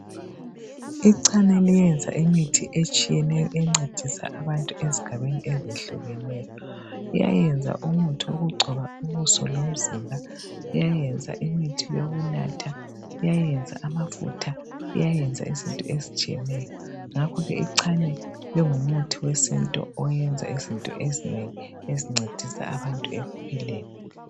Icena liyenza imithi etshiyeneyo encedisa abantu ezigabeni ezehlukeneyo liyayenza umuthi wokugcoba ubuso lomzibha liyayenza imithi yokunatha liyayenza amafutha liyayenza izinto ezitshiyeneyo ngakho ke icena lingumuthi wesintu oyenza izinto ezinengi ezincedisa abantu ekuphileni